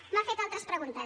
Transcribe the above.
m’ha fet altres preguntes